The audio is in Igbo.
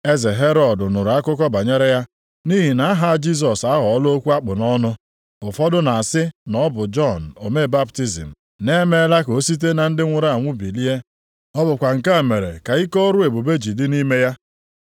Eze Herọd nụrụ akụkọ banyere ya, nʼihi na aha Jisọs aghọọla okwu a kpụ nʼọnụ. Ụfọdụ na-asị, na ọ bụ “Jọn omee baptizim; na e meela ka o site na ndị nwụrụ anwụ bilie. Ọ bụkwa nke a mere ka ike ọrụ ebube ji dị nʼime ya.”